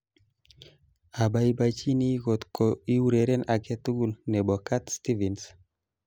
Abaibaichini kotko iureren aketugul nebo Cat Stevens